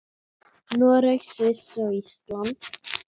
Noreg, Sviss og Ísland.